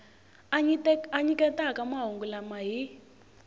a nyiketaka mahungu lama hi